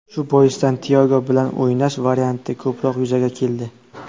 Shu boisdan Tyago bilan o‘ynash varianti ko‘proq yuzaga keldi.